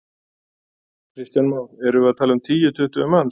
Kristján Már: Erum við að tala um tíu, tuttugu manns?